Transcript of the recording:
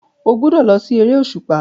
Ó gbúdọ̀ lọ sí eré òṣùpá.